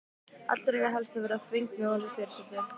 Allir eiga helst að vera þvengmjóir eins og fyrirsætur.